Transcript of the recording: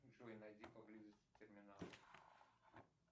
джой найди поблизости терминал